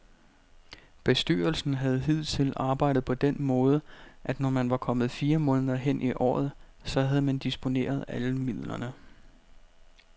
Bestyrelsen har hidtil arbejdet på den måde, at når man var kommet fire måneder hen i året, så havde man disponeret alle midlerne.